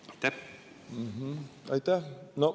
Aitäh!